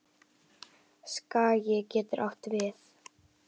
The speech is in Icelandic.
Skagi getur átt við